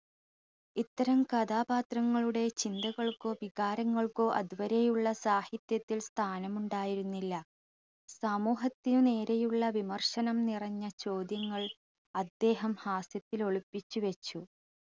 ഇത്തരം കഥാപാത്രങ്ങളുടെ ചിന്തകൾക്കോ വികാരങ്ങൾക്കോ അതുവരെയുള്ള സാഹിത്യത്തിൽ സ്ഥാനമുണ്ടായിരുന്നില്ല സമൂഹത്തിന് നേരെയുള്ള വിമർശനം നിറഞ്ഞ ചോദ്യങ്ങൾ അദ്ദേഹം ഹാസ്യത്തിൽ ഒളിപ്പിച്ചു വെച്ചു